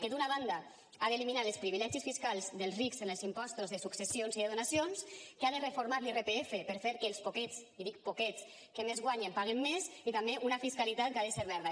que d’una banda ha d’eliminar els privilegis fiscals dels rics en els impostos de successions i de donacions que ha de reformar l’irpf per fer que els poquets i dic poquets que més guanyen paguen més i també una fiscalitat que ha de ser verda